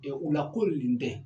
U la ko nin den